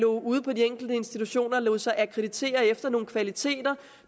ude på de enkelte institutioner lod sig akkreditere efter nogle kvaliteter